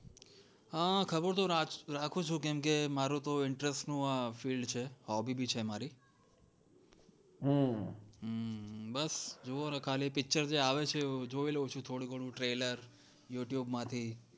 હા ખબર તો રાખું છું કેમ કે મારુ તો interest નું field છે hobby બી છે મારી હા હું ખાલી picture જે આવે છે જોય લવ થોડું ઘણું trailer youtube માંથી